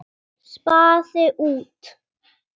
Spaði út.